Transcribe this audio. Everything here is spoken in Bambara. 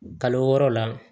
Kalo wɔɔrɔ la